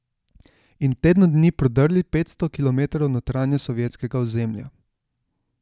In v tednu dni prodrli petsto kilometrov v notranjost sovjetskega ozemlja.